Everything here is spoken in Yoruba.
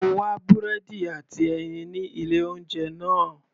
Mo wá búrẹ́dì àti ẹyin ní ilé oúnjẹ náà.